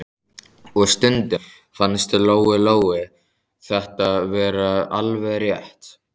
Og stundum fannst Lóu-Lóu þetta vera alveg rétt.